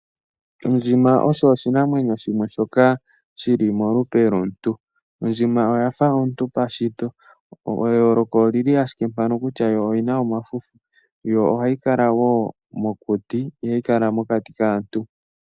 Ondjima osho oshinamwenyo shoka shi li molupe lwomuntu. Ondjima oya fa omuntu pashito. Eyooloko oli li owala mpaka kutya yo oyi na omafufu, yo ohayi kala wo mokuti, ihayi kala mokati kaantu.